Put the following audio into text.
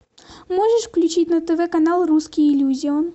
можешь включить на тв канал русский иллюзион